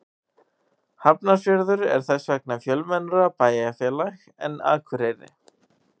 Hafnarfjörður er þess vegna fjölmennara bæjarfélag en Akureyri.